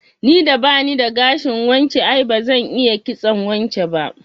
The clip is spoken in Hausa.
Ni da bani da gashin wance, ai bazan iya kitson wance ba